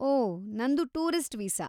ಓಹ್, ನಂದು tourist visa.